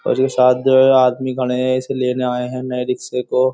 और ये साथ जो हैं ये आदमी खड़े हैं। ये इसे लेने आए हैं। नए रिक्शे को।